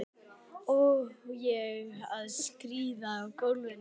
Á ég að skríða í gólfinu?